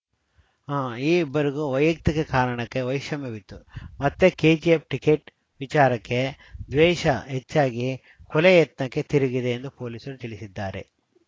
ಅ ಈ ಇಬ್ಬರಿಗೂ ವೈಯುಕ್ತಿಕ ಕಾರಣಕ್ಕೆ ವೈಷಮ್ಯವಿತ್ತು ಮತ್ತೆ ಕೆಜಿಎಫ್‌ ಟಿಕೆಟ್‌ ವಿಚಾರಕ್ಕೆ ದ್ವೇಷ ಹೆಚ್ಚಾಗಿ ಕೊಲೆ ಯತ್ನಕ್ಕೆ ತಿರುಗಿದೆ ಎಂದು ಪೊಲೀಸರು ತಿಳಿಸಿದ್ದಾರೆ